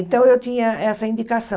Então, eu tinha essa indicação.